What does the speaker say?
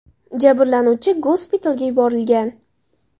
Jabrlanuvchi gospitalga yuborilgan.